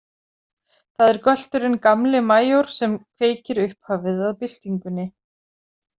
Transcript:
Það er gölturinn Gamli majór sem kveikir upphafið að byltingunni.